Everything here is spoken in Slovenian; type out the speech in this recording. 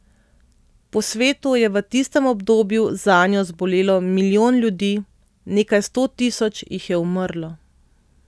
Po svetu je v tistem obdobju zanjo zbolelo milijon ljudi, nekaj sto tisoč jih je umrlo.